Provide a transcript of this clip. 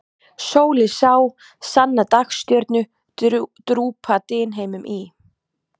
Sól ég sá, sanna dagstjörnu, drúpa dynheimum í.